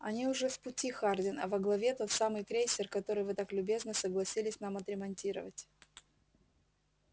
они уже в пути хардин а во главе тот самый крейсер который вы так любезно согласились нам отремонтировать